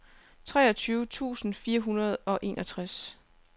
treogtyve tusind fire hundrede og enogtres